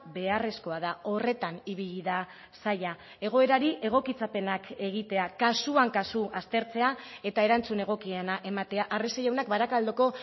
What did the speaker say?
beharrezkoa da horretan ibili da saila egoerari egokitzapenak egitea kasuan kasu aztertzea eta erantzun egokiena ematea arrese jaunak barakaldoko